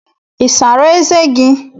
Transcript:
I sara eze gi?